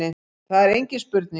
Það er engin spurning